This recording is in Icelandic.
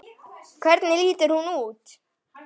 Hvernig lítur hún út?